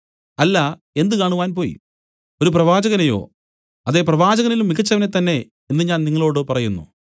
അല്ല എന്ത് കാണുവാൻ പോയി ഒരു പ്രവാചകനെയോ അതെ പ്രവാചകനിലും മികച്ചവനെ തന്നേ എന്നു ഞാൻ നിങ്ങളോടു പറയുന്നു